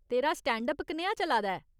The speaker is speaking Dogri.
तेरा स्टैंड अप कनेहा चला दा ऐ ?